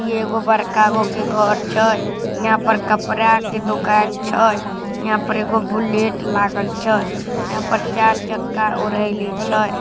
ई एगो बड़का गो के घर छै। यहाँ पर कपड़ा के दुकान छै। इहा पर एगो बुलेट लागल छै। यहाँ पर चार चक्का औरेहेले छै।